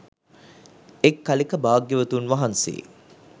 එක් කලෙක භාග්‍යවතුන් වහන්සේ